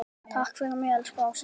Takk fyrir mig, elsku Ása.